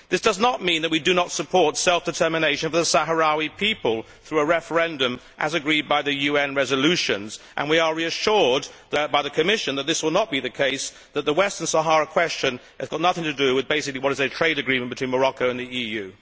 This does not mean that we do not support self determination for the Sahrawi people through a referendum, as agreed by the UN resolutions, and we are reassured by the Commission that this will not be the case, and that the Western Sahara question has got nothing to do with what is basically a trade agreement between Morocco and the EU.